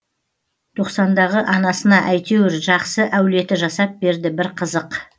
тоқсандағы анасына әйтеуір жақсы әулеті жасап берді бір қызық